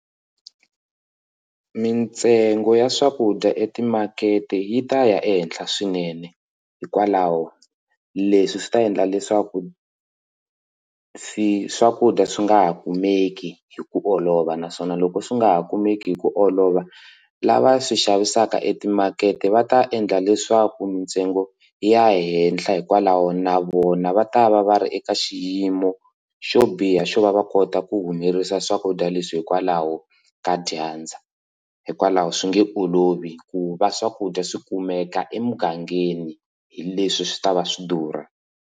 Mitsengo ya swakudya eka timakete yi ta ya ehenhla swinene hikwalaho leswi swi ta endla leswaku swi swakudya swi nga ha kumeki hi ku olova naswona loko swi nga ha kumeki hi ku olova lava swi xavisaka etimakete va ta endla leswaku mitsengo ya henhla hikwalaho na vona va ta va va ri eka xiyimo xo biha xo va va kota ku humelerisa swakudya leswi hikwalaho ka dyandza hikwalaho swi nge olovi ku va swakudya swi kumeka emugangeni hileswi swi ta va swi durha.